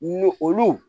Ni olu